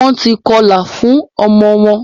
Wón tí kọla fun omo won